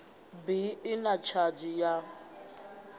bi i na tshadzhi ya